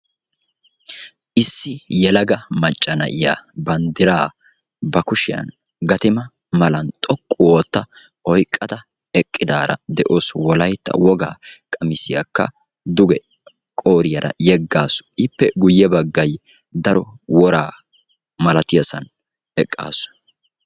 Issi yelaga macca na'iya banddiraa ba kushiyan gatima malan xoqqu ootta oyqqada eqqidaara de'awusu. Wolaytta wogaa qamisiyakka duge qooriyaara yeggaasu. Ippe guyye baggay daro woraa malatiyasan eqqaasu.